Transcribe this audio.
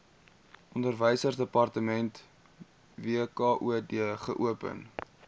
onderwysdepartement wkod geopen